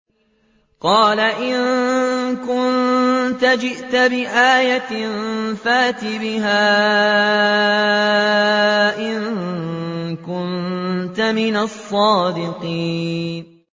قَالَ إِن كُنتَ جِئْتَ بِآيَةٍ فَأْتِ بِهَا إِن كُنتَ مِنَ الصَّادِقِينَ